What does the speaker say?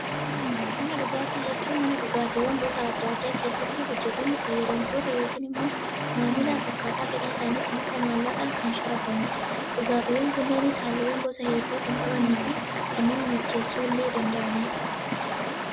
Mana dhugaatii jechuun, mana dhugaatiiwwan gosa addaa addaa keessatti hojjetamuu, fayyadamtoota yookaan immoo maamilaaf akkaataa fedhii isaaniitiin bifa maallaqaan kan sharafamudha. Dhugaatiiwwan kunneenis halluuwwan gosa hedduu kan qabanii fi kan nama macheessuu illee danda'anidha.